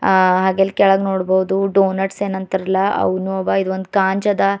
ಆ ಹಾಗೆಲ್ ಕೆಳಗ ನೋಡ್ಬಾವುದು ಟೋನೆಟ್ಸ್ ಏನ್ ಅಂತಾರಲ್ಲ ಅವ್ನು ಅವ ಇದೊಂದ್ ಕಾಂಜ್ ಅದ.